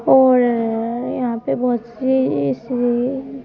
और अ अ यहां पे बहुत सी इस अ--